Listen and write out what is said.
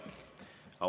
Jaa.